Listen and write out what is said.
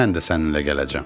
Mən də səninlə gələcəm.